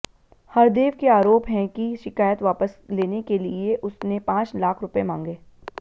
हरदेव के आरोप हैं कि शिकायत वापस लेने के लिए उसने पांच लाख रुपए मांगे